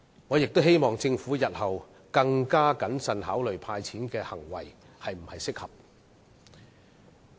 我希望政府日後可以更謹慎地考慮"派錢"的行為是否適合。